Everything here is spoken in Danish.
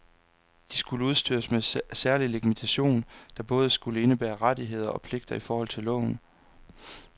De skulle udstyres med særlig legitimation, der både skulle indebære rettigheder og pligter i forhold til loven.